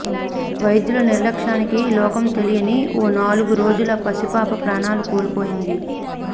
వైద్యుల నిర్లక్ష్యానికి లోకం తెలియని ఓ నాలుగు రోజుల పసిపాప ప్రాణాలు కోల్పోయింది